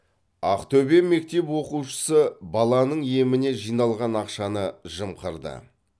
ақтөбе мектеп оқушысы баланың еміне жиналған ақшаны жымқырды